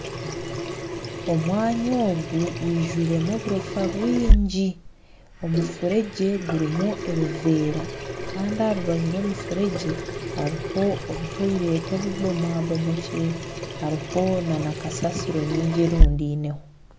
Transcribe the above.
Omwanya ogu gwijwiremu oburofa bwingi mufuregye gurumu ebivera Kandi aharubaju rw'omufuregye haruho obu toilet obubomabomokire haruho na kasasiro nyingi erundeineho.